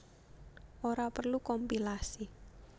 Ora perlu kompilasi